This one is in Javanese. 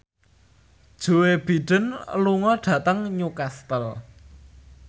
Joe Biden lunga dhateng Newcastle